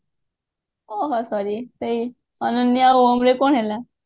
ଓଃହୋ sorry ସେଇ ଅନନ୍ୟା ଓମ ର କଣ ହେଲା